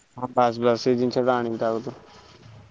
ହଁ ବାସ ବାସ ସେଇ ଜନିଷ ଟା ଆଣିବି ତା କତିରୁ।